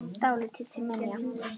Dálítið til minja.